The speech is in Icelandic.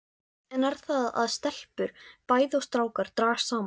Enn er það að stelpur bæði og strákar dragast saman.